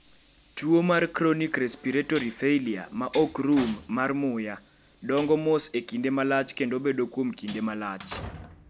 Tuo mar Chronic respiratory failure ma ok rum mar muya dongo mos e kinde malach kendo bedo kuom kinde malach.